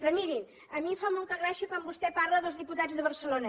però mirin a mi em fa molta gràcia quan vostè parla dels diputats de barcelona